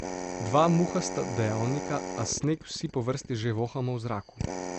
Dva muhasta dejavnika, a sneg vsi po vrsti že vohamo v zraku.